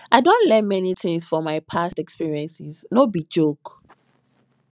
i don learn many tings for my past experiences no be joke